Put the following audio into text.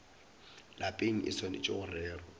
lapeng e swanetše go rerwa